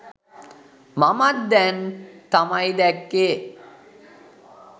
මමත් දැන් තමයි දැක්කේ.